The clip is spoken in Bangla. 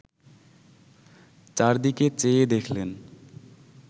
চারদিকে চেয়ে দেখলেন